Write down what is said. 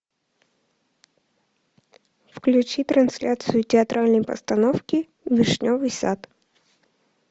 включи трансляцию театральной постановки вишневый сад